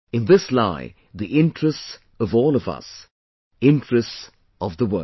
In this lies the interests of all of us ; interests of the world